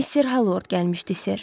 Mister Hallord gəlmişdi ser.